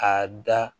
A da